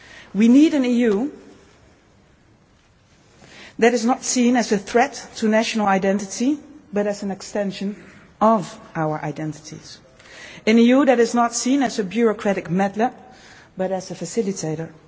bay. We need an EU that is not seen as a threat to national identity but as an extension of our identities, an EU that is not seen as a bureaucratic meddler, but as a facilitator.